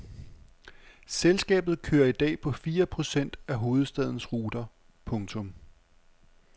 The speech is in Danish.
Selskabet kører i dag på fire procent af hovedstadens ruter. punktum